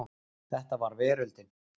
Þetta var veröldin.